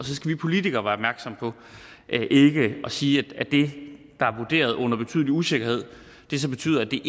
så skal vi politikere være opmærksomme på ikke at sige at det der er vurderet med betydelig usikkerhed så betyder at det